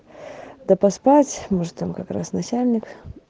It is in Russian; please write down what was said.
да поспать может там как раз начальник